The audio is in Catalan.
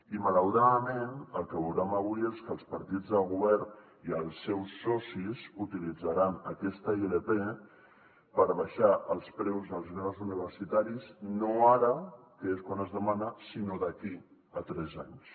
i malauradament el que veurem avui és que els partits del govern i els seus socis utilitzaran aquesta ilp per abaixar els preus dels graus universitaris no ara que és quan es demana sinó d’aquí a tres anys